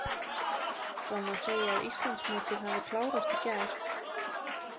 Það má segja að Íslandsmótið hafi klárast í gær.